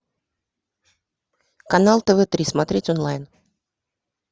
канал тв три смотреть онлайн